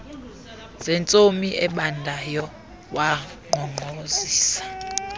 zentsomi ebandayo wankqonkqozisa